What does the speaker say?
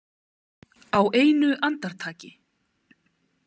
Á einu andartaki.